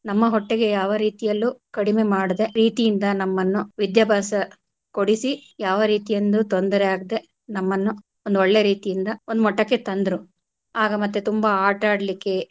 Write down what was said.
ನಮ್ಮ ಹೊಟ್ಟೆಗೆ ಯಾವ ರೀತಿಯಲ್ಲೂ ಕಡಿಮೆ ಮಾಡದೆ ಪ್ರೀತಿಯಿಂದ ನಮ್ಮನ್ನು ವಿದ್ಯಾಭ್ಯಾಸ ಕೊಡಿಸಿ ಯಾವ ರೀತಿಯಿಂದು ತೊಂದರೆಯಾಗ್ದೆ ನಮ್ಮನ್ನು ಒಂದು ಒಳ್ಳೆ ರೀತಿಯಿಂದ ಒಂದು ಮಟ್ಟಕ್ಕೆ ತಂದ್ರು ಆಗ ಮತ್ತೆ ತುಂಬಾ ಆಟ ಆಡ್ಲಿಕ್ಕೆ.